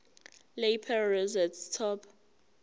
lapel rosette top